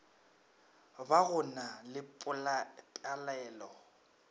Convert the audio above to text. ba go na le palelo